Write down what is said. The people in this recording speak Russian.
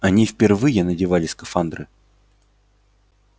они впервые надевали скафандры